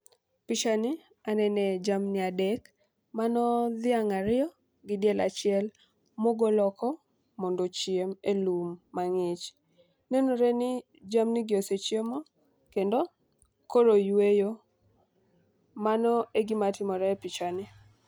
Picha ni anene jamni adek mano dhaing' ariyo gi diel achiel mogol oko mondo ochiem e lum mang'ich. Nenore ni jamni gi osechiemo kendo koro yweyo, mano e gima timore e picha ni.